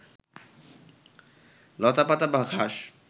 লতাপাতা বা ঘাস